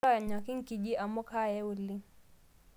Ronyaki nkiji amu kaaya oleng